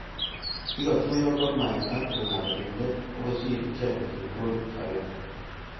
Kikatuyo Gormahia ak kogalo eng let akosir ichekeket eng kolit agenge.